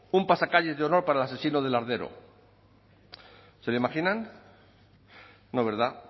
un pasacalles de honor para el asesino de lardero se lo imaginan no verdad